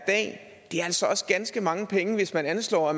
ganske mange penge hvis man anslår at